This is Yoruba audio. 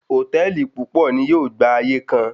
Hòtẹ́ẹ̀lì púpọ̀ ni yóò gba ayé kan.